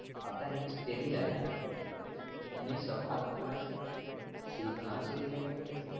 அதான் news தெரில்ல ஆனால் news ல பாத்தே சிரிப்புனா சிரிப்பு எனக்கு